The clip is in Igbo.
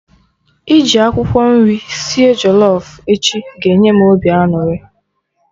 Iji akwụkwọ nri sie jollof echi ga-enye m obi aṅụrị